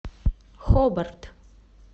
хобарт